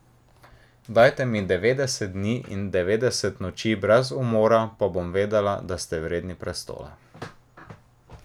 Dajte mi devetdeset dni in devetdeset noči brez umora, pa bom vedela, da ste vredni prestola.